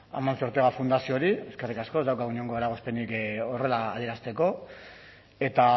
amancio ortega fundazioari eskerrik asko ez daukagu inongo eragozpenik horrela adierazteko eta